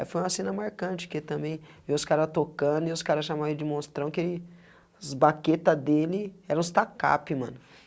Aí foi uma cena marcante, que também, vê os cara tocando, e os cara chamam ele de monstrão, que ele as baqueta dele eram, mano.